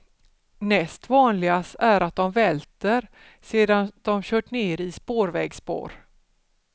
Näst vanligast är att de välter sedan de kört ner i spårvägspår.